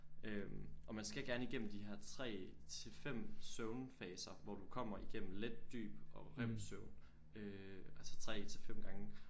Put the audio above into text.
Øh og man skal gerne igennem de her 3 til 5 søvnfaser hvor du kommer igennem let dyb og rem-søvn øh altså 3 til 5 gange